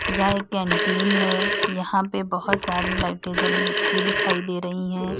यह एक कैंटीन है यहां पे बहुत सारी लाइटें जलती दिखाई दे रही है।